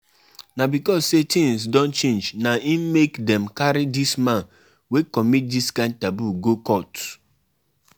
Choose persin wey go anchor di festival and book am on time